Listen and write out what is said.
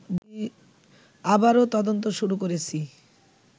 আবারও তদন্ত শুরু করেছি